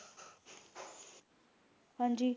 ਹਾਂਜੀ